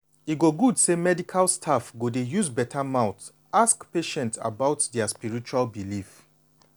e go good say medical staff go dey use beta mouth ask patient about dia spiritual belief.